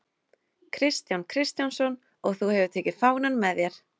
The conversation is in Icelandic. Kristján Kristjánsson: Og þú hefur tekið fánann með þér?